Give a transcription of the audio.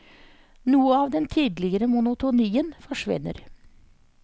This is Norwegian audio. Noe av den tidligere monotonien forsvinner.